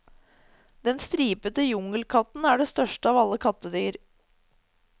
Den stripete jungelkatten er det største av alle kattedyr.